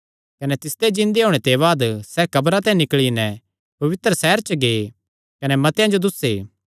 कने तिसदे जिन्दे होणे ते बाद सैह़ कब्रां ते निकल़ी नैं पवित्र सैहर च गै कने मतेआं जो दुस्से